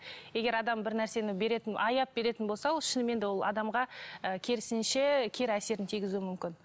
егер адам бір нәрсені беретін аяп беретін болса ол шынымен де ол адамға ы керісінше кері әсерін тигізуі мүмкін